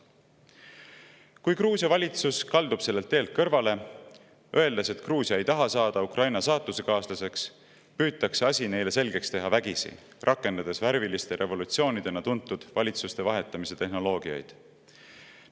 Kui Gruusia valitsus kaldub sellelt teelt kõrvale, öeldes, et Gruusia ei taha saada Ukraina saatusekaaslaseks, püütakse asi neile selgeks teha vägisi, rakendades värviliste revolutsioonidena tuntud valitsuste vahetamise tehnoloogiaid.